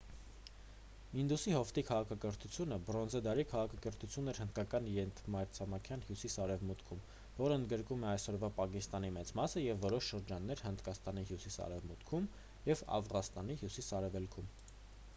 ինդուսի հովտի քաղաքակրթությունը բրոնզե դարի քաղաքակրթություն էր հնդկական ենթամայրցամաքի հյուսիս-արևմուտքում որն ընդգրկում է այսօրվա պակիստանի մեծ մասը և որոշ շրջաններ հնդկաստանի հյուսիս-արևմուտքում և աֆղանստանի հյուսիս-արևելքում